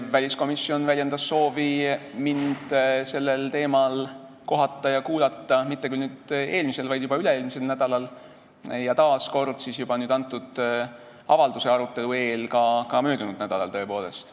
Väliskomisjon väljendas soovi minuga sellel teemal kohtuda ja mind kuulata mitte eelmisel, vaid üle-eelmisel nädalal, ja taas kord antud avalduse arutelu eel ka möödunud nädalal, tõepoolest.